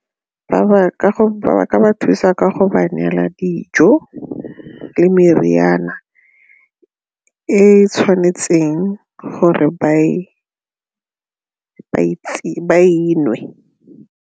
Ba ka ba thusa ka go ba neela dijo le meriana e tshwanetseng gore ba e nwe.